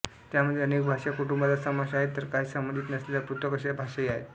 त्यामध्ये अनेक भाषा कुटुंबांचा समावेश आहेत तर काही संबंधित नसलेल्या पृथक अशा भाषाही आहेत